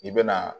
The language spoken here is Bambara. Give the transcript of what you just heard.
I bɛna